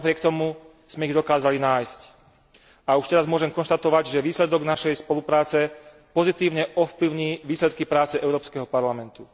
Napriek tomu sme ich dokázali nájsť a už teraz môžem konštatovať, že výsledok našej spolupráce pozitívne ovplyvní výsledky práce Európskeho parlamentu.